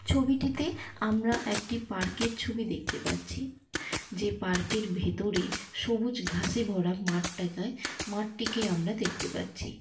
ছবিটিতে আমরা একটি পার্কের ছবি দেখতে পাচ্ছি | যে পার্কের ভেতরে সবুজ ঘাসে ভরা মাঠ টাকায় মাঠটিকে আমরা দেখতে পাচ্ছি।